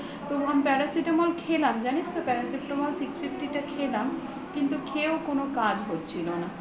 তো একটা paracitemal খেলাম জানিস তো paracitemal six fifty টা খেলাম কিন্তু খেয়েও কোনো কাজ হচ্ছিল না